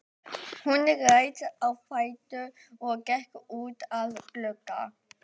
Hún reis á fætur og gekk út að glugga.